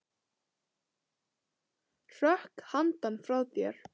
Hrökk hann frá þér?